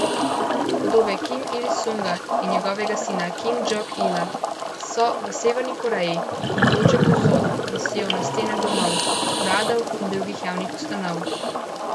Podobe Kim Il Sunga in njegovega sina Kim Jong Ila so v Severni Koreji navzoče povsod, visijo na stenah domov, uradov in drugih javnih ustanov.